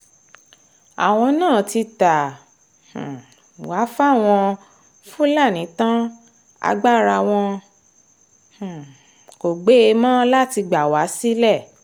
àwọn náà ti ta um wá fáwọn fúlàní tán agbára wọn um kò gbé e mọ́ láti gbà wá sílẹ̀